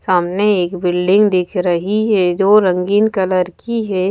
सामने एक बिल्डिंग दिख रही है जो रंगीन कलर की है।